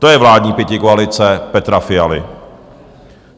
To je vládní pětikoalice Petra Fialy.